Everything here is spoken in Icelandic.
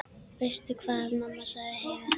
Veistu hvað, mamma, sagði Heiða.